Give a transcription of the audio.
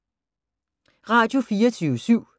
Radio24syv